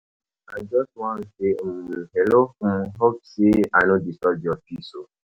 I just wan say um hello, um hope say I no disturb your peace?